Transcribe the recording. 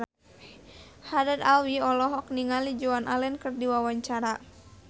Haddad Alwi olohok ningali Joan Allen keur diwawancara